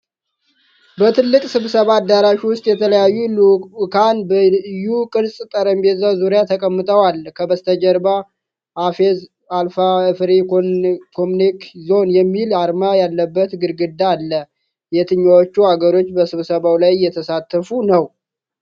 በትልቅ ስብሰባ አዳራሽ ውስጥ የተለያዩ ልዑካን በዩ-ቅርጽ ጠረጴዛ ዙሪያ ተቀምጠዋል። ከበስተጀርባ "AFEZ ALAT FREE ECONOMIC ZONE" የሚል አርማ ያለበት ግድግዳ አለ። የትኞቹ አገሮች በስብሰባው ላይ እየተሳተፉ ነው?